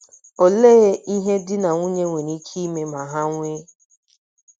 Olee ihe di na nwunye nwere ike ime ma ha nwee